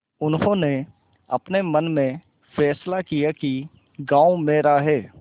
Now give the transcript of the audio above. उन्होंने अपने मन में फैसला किया कि गॉँव मेरा है